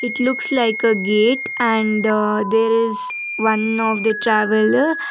it's looks like a gate and there is one of the traveller.